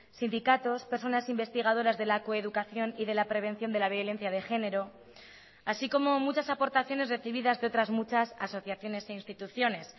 sindicatos personas investigadoras de la coeducación y de la prevención de la violencia de género así como muchas aportaciones recibidas de otras muchas asociaciones e instituciones